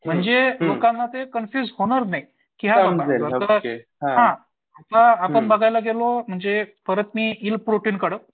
म्हणजे दुकानात हे कन्फ्युज होणार नाही. आता आपण बघायला गेलो म्हणजे परत मी येईल प्रोटीनकडं